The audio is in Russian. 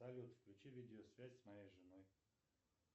салют включи видеосвязь с моей женой